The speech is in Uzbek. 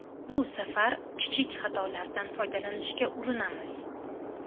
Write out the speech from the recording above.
Bu safar kichik xatolardan foydalanishga urinamiz.